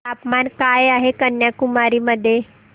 तापमान काय आहे कन्याकुमारी मध्ये